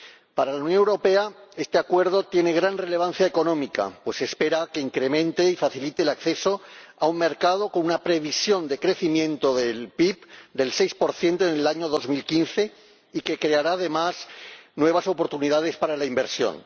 Para la Unión Europea este Acuerdo tiene gran relevancia económica, pues se espera que incremente y facilite el acceso a un mercado con una previsión de crecimiento del PIB del 6 en el año 2015 y que creará, además, nuevas oportunidades para la inversión.